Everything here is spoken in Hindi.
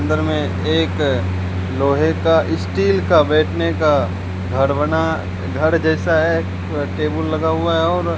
अंदर में एक लोहे का स्टील का बैठने का घर बना घर जैसा है टेबल लगा हुआ है और --